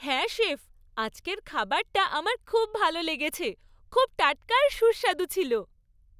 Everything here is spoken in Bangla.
হ্যাঁ, শেফ, আজকের খাবারটা আমার খুব ভালো লেগেছে। খুব টাটকা আর সুস্বাদু ছিল।